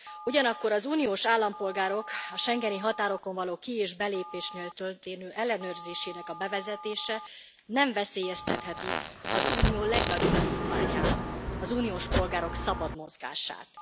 Ugyanakkor az uniós állampolgárok schengeni határokon való ki és belépésnél történő ellenőrzésének a bevezetése nem veszélyeztetheti az Unió legnagyobb vívmányát az uniós polgárok szabad mozgását.